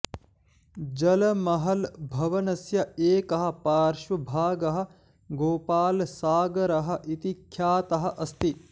जलमहल् भवनस्य एकः पार्श्वभागः गोपालसागरः इति ख्यातः अस्ति